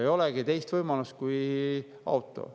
Ei olegi teist võimalust kui auto.